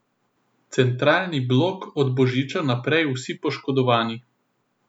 Centralni blok od božiča naprej vsi poškodovani.